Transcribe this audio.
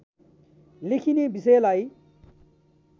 लेखिने विषयलाई